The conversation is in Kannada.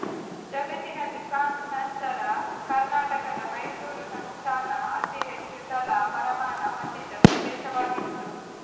ಜಗತ್ತಿನಲ್ಲಿ ಫ್ರಾನ್ಸ್ ನಂತರ ಕರ್ನಾಟಕದ ಮೈಸೂರು ಸಂಸ್ಥಾನ ಅತಿ ಹೆಚ್ಚು ತಲಾ ವರಮಾನ ಹೊಂದಿದ್ದ ಪ್ರದೇಶವಾಗಿತ್ತು